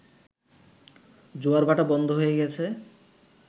জোয়ার-ভাটা বন্ধ হয়ে গেছে